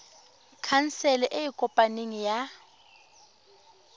khansele e e kopaneng ya